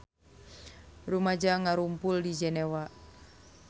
Rumaja ngarumpul di Jenewa